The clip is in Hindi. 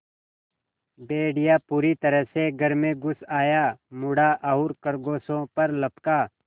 भेड़िया पूरी तरह से घर में घुस आया मुड़ा और खरगोशों पर लपका